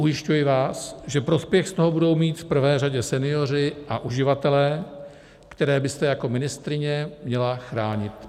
Ujišťuji vás, že prospěch z toho budou mít v prvé řadě senioři a uživatelé, které byste jako ministryně měla chránit.